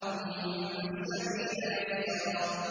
ثُمَّ السَّبِيلَ يَسَّرَهُ